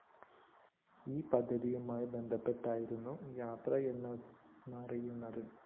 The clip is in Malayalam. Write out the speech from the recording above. ഈ പദ്ധതിയുമായി ബന്ധപ്പെട്ടായിരുന്നു യാത്രയെന്നാണറിയുന്നത്